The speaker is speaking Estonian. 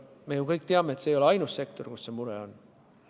Me ju kõik teame, et see ei ole ainus sektor, kus see mure on.